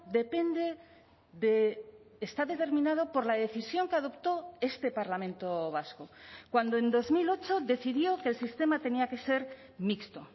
depende de está determinado por la decisión que adoptó este parlamento vasco cuando en dos mil ocho decidió que el sistema tenía que ser mixto